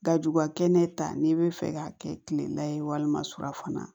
Gajugubakɛnɛ ta n'i bɛ fɛ k'a kɛ kilela ye walima surafana